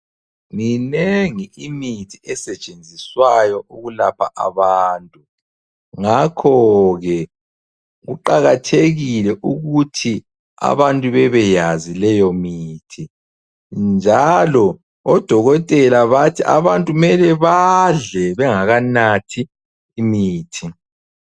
Minengi imithi esetshenziswayo ukulapha abantu. Ngakho ke kuqakathekile ukuthi abantu bebeyazi leyomithi. Njalo odokotela bathi abantu kumele badle bengakanathi imithi.